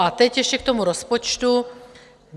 A teď ještě k tomu rozpočtu.